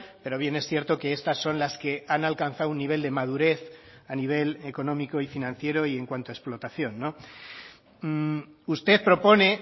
pero bien es cierto que estas son las que han alcanzado un nivel de madurez a nivel económico y financiero y en cuanto a explotación usted propone